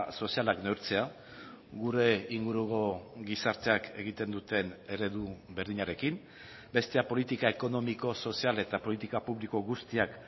sozialak neurtzea gure inguruko gizarteak egiten duten eredu berdinarekin bestea politika ekonomiko sozial eta politika publiko guztiak